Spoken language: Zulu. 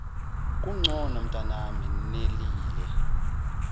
ukugcona umntanami nelile